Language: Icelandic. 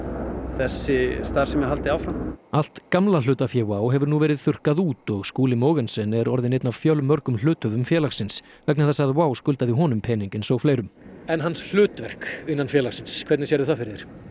þessi starfsemi haldi áfram allt gamla hlutafé WOW hefur nú verið þurrkað út og Skúli Mogensen er orðinn einn af fjölmörgum hluthöfum félagsins vegna þess að WOW skuldaði honum pening eins og fleirum en hans hlutverk innan félagsins hvernig sérðu það fyrir